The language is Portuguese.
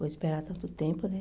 Vou esperar tanto tempo, né?